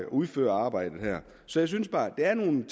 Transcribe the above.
udføre arbejdet så jeg synes der er nogle